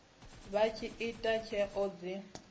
vha tshi ita tsheo dzi